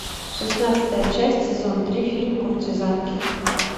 шестнадцатая часть сезон три фильм куртизанки